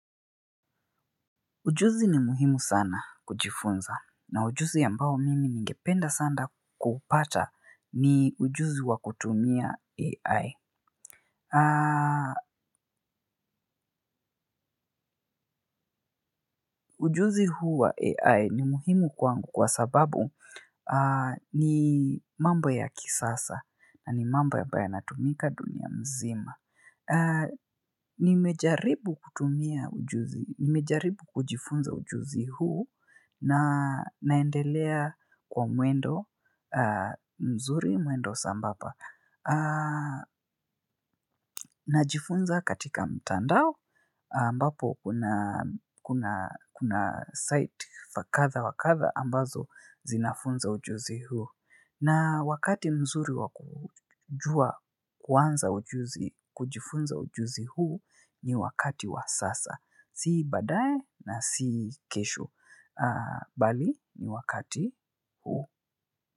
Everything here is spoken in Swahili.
Ujuzi ni muhimu sana kujifunza, na ujuzi ambao mimi ningependa sana kupata ni ujuzi wa kutumia AI. Ujuzi huu wa AI ni muhimu kwangu kwa sababu ni mambo ya kisasa na ni mambo ambayo yanatumika duniani mzima. Nimejaribu kujifunza ujuzi huu na naendelea kwa mwendo mzuri, mwendo sambamba. Najifunza katika mtandao ambapo kuna site tofauti ambazo zinafundisha ujuzi huu. Na wakati mzuri wa kuanza kujifunza ujuzi huu ni wakati wa sasa. Si baadaye na si kesho. Bali ni wakati huu.